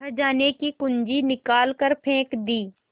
खजाने की कुन्जी निकाल कर फेंक दी